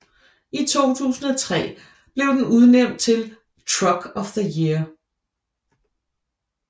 I 2003 blev den udnævnt til Truck of the Year